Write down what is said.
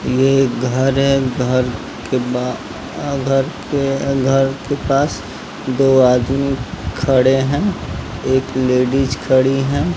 ये एक घर है घर के बाद घर के पास दो आदमी खड़े है एक लेडिज खड़ी है।